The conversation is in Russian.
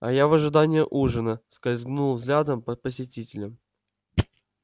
а я в ожидании ужина скользнул взглядом по посетителям